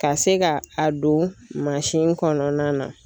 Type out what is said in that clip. Ka se ka a don mansin kɔnɔna na